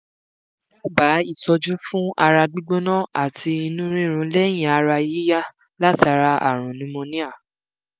dábàá itọju fún ara gbígbóná ati inú rírun leyin ara yiya látara arun pneumonia